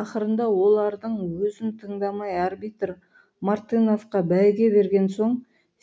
ақырында олардың өзін тыңдамай арбитр мартыновқа бәйге берген соң